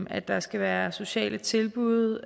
at der skal være sociale tilbud